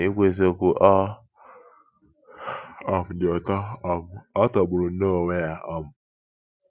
“Na-ikwu eziokwu, ọ um dị ụtọ um — ọ tọgburu nnọọ onwe ya! um